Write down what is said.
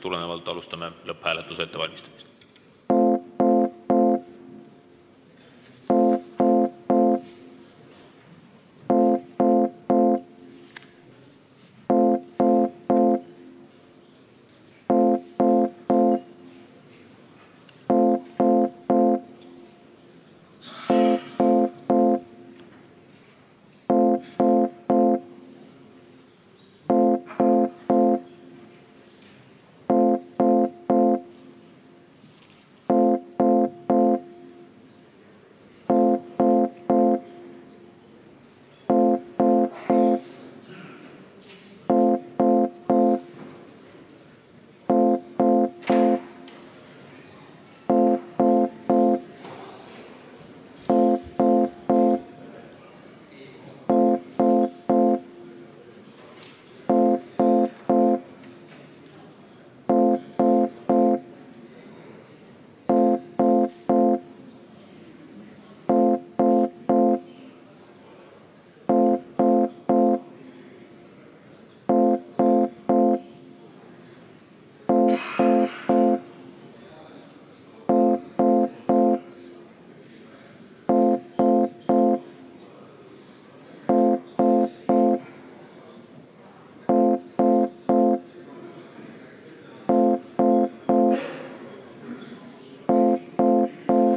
Alustame lõpphääletuse ettevalmistamist.